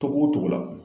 Togo togo la